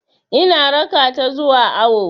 Ina raka ta zuwa awo.